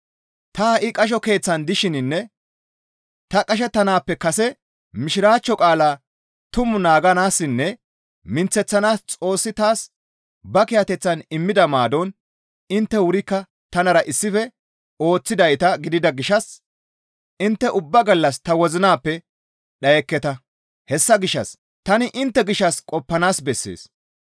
Ta ha7i qasho keeththan dishininne ta qashettanaappeka kase Mishiraachcho qaalaa tuma naaganaassinne minththeththanaas Xoossi taas ba kiyateththan immida maadon intte wurikka tanara issife ooththidayta gidida gishshas intte ubba gallas ta wozinappe dhayekketa; hessa gishshas tani intte gishshas qoppanaas bessees.